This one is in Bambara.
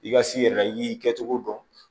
I ka s'i yɛrɛ la i y'i kɛcogo dɔn